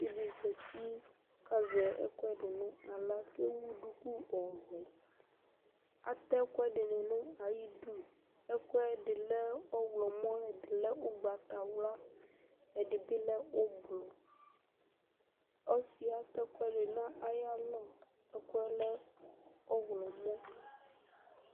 Evidze di zati ku ewu ɛku naɣla ewu duku ɔvɛ atɛ ɛkuɛdini nayidu ɛkuɛdi lɛ ɔɣlomɔ ɛdini lɛ ugbatawla ɛdibi lɛ úblui ɔsi yɛ ata ɛkuɛdi nu ayalɔ ɛkuɛ lɛ ɔɣlomɔ